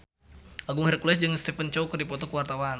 Agung Hercules jeung Stephen Chow keur dipoto ku wartawan